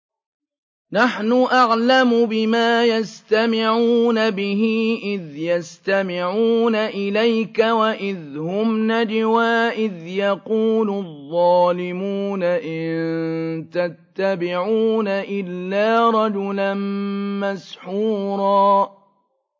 نَّحْنُ أَعْلَمُ بِمَا يَسْتَمِعُونَ بِهِ إِذْ يَسْتَمِعُونَ إِلَيْكَ وَإِذْ هُمْ نَجْوَىٰ إِذْ يَقُولُ الظَّالِمُونَ إِن تَتَّبِعُونَ إِلَّا رَجُلًا مَّسْحُورًا